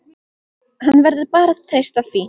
Hann verður bara að treysta því.